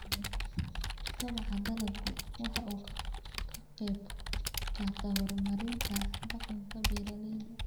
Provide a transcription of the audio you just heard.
Kobaca dalaggu waxa uu ka qayb qaataa horumarinta dhaqanka beeralayda.